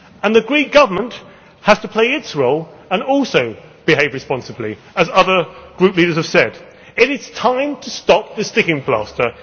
The Greek Government has to play its role and also behave responsibly, as other group leaders have said. It is time to stop the sticking plaster.